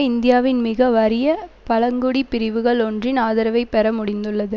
இந்தியாவின் மிக வறிய பழங்குடி பிரிவுகள் ஒன்றின் ஆதரவை பெற முடிந்துள்ளது